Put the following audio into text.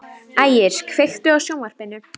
Ægir, kveiktu á sjónvarpinu.